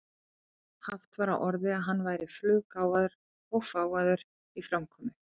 Haft var á orði að hann væri fluggáfaður og fágaður í framkomu.